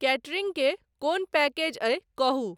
catering के कोन package एहि कहू